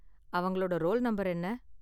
அவங்களோட roll number என்ன?